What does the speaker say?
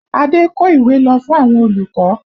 Ade kó ìwé lọ fún àwọn olùkọ́